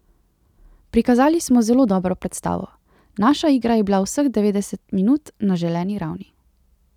Prikazali smo zelo dobro predstavo, naša igra je bila vseh devetdeset minut na želeni ravni.